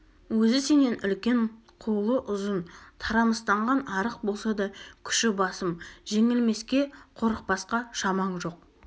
өзі сенен үлкен қолы ұзын тарамыстанған арық болса да күші басым жеңілмеске қорықпасқа шамаң жоқ